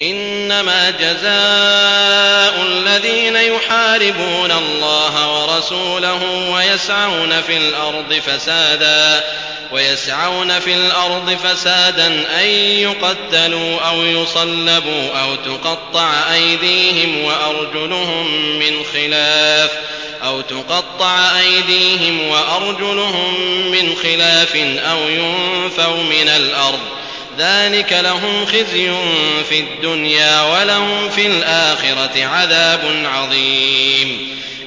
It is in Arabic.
إِنَّمَا جَزَاءُ الَّذِينَ يُحَارِبُونَ اللَّهَ وَرَسُولَهُ وَيَسْعَوْنَ فِي الْأَرْضِ فَسَادًا أَن يُقَتَّلُوا أَوْ يُصَلَّبُوا أَوْ تُقَطَّعَ أَيْدِيهِمْ وَأَرْجُلُهُم مِّنْ خِلَافٍ أَوْ يُنفَوْا مِنَ الْأَرْضِ ۚ ذَٰلِكَ لَهُمْ خِزْيٌ فِي الدُّنْيَا ۖ وَلَهُمْ فِي الْآخِرَةِ عَذَابٌ عَظِيمٌ